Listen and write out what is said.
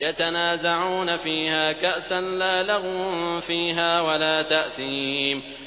يَتَنَازَعُونَ فِيهَا كَأْسًا لَّا لَغْوٌ فِيهَا وَلَا تَأْثِيمٌ